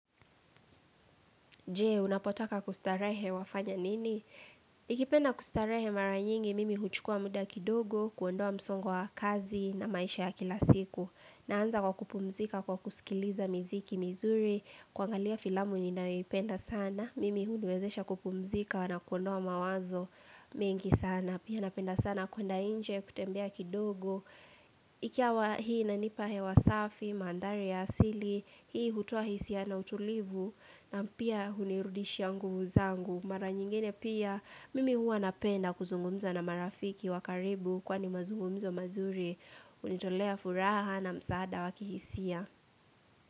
Je, unapotaka kustarehe wafanya nini? Nikipenda kustarehe mara nyingi, mimi huchukua muda kidogo, kuondoa msongo wa kazi na maisha ya kila siku. Naanza kwa kupumzika kwa kusikiliza miziki mizuri, kuangalia filamu ninayoipenda sana. Mimi hutuwezesha kupumzika na kuondoa mawazo mingi sana. Pia napenda sana kuenda nje, kutembea kidogo. Ikawa hii inanipa hewa safi, mandhari ya asili, hii hutoa hisia na utulivu. Na pia hunirudishia nguvu zangu Mara nyingine pia mimi huwa napenda kuzungumza na marafiki wa karibu Kwani mazungumzo mazuri Hunitolea furaha na msaada wa kihisia.